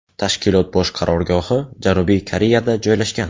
Tashkilot bosh qarorgohi Janubiy Koreyada joylashgan.